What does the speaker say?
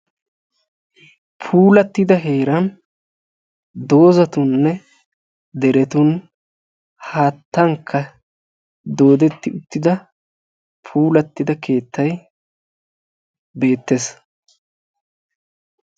Puulattida heeran doozatuninne derettun haattankka doodetti uttida puulatti uttida keettay beettees.